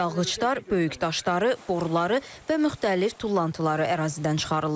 Dağıçlar böyük daşları, boruları və müxtəlif tullantıları ərazidən çıxarırlar.